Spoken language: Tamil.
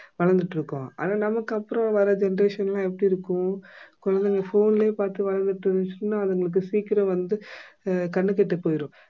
வளர்ந்துகிட்டிருக்கோம் ஆனா நமக்கு அப்பறம் வர generation லாம் எப்படி இருக்கும் குழந்தைங்க phone லயே பார்த்து வளர்ந்துட்டு இருந்துச்சுன்னா அதுங்களுக்கு சீக்கிரம் வந்து அஹ் கண்ணு கெட்டு போயிரும்